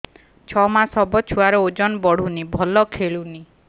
ଛଅ ମାସ ହବ ଛୁଆର ଓଜନ ବଢୁନି ଭଲ ଖେଳୁନି